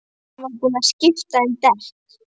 Hann var búinn að skipta um dekk.